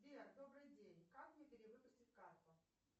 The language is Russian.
сбер добрый день как мне перевыпустить карту